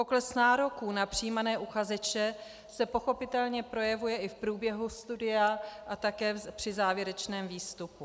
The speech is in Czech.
Pokles nároků na přijímané uchazeče se pochopitelně projevuje i v průběhu studia a také při závěrečném výstupu.